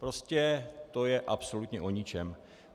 Prostě to je absolutně o ničem.